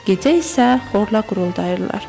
Gecə isə xorla quruldayırlar.